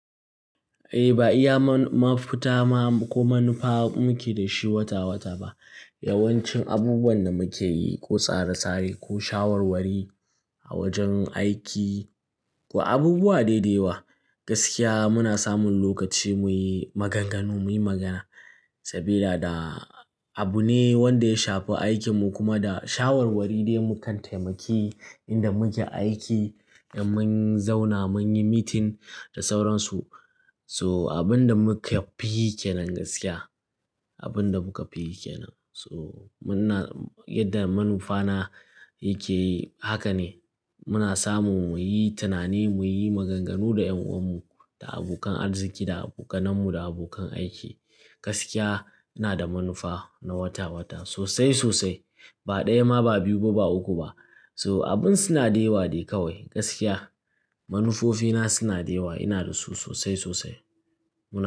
Eh, ba iya ma ma fita ma ko manufa muke da shi wata wata ba. Yawancin abubuwan da muke yi, ko tsare-tsare ko shawarwari a wajen aiki ko abubuwa dai da yawa, gaskiya muna samun lokaci muyi maganganu, muyi magana. Sabida da abu ne wanda ya shafi aikin mu kuma da shawarwari ne mukan taimaki inda muke aiki da mun zauna mun yi meeting da sauransu. So abin da muka fi yi kenan gaskiya, abin da muka fi yi kenan. So muna yadda manufa na yake yi haka ne muna samun muyi tunani, muyi maganganu da ƴan'uwan mu, da abokan arziƙi da abokanen mu da abokan aiki. Gaskiya ina da manufa na wata wata sosai sosai. Ba ɗaya ma ba biyu ba, ba uku ba. So abin suna da yawa ne kawai gaskiya. Manufofi na suna da yewa, ina da su sosai sosai. Muna.